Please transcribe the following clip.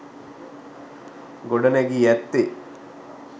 ගොඩ නැගී ඇත්තේ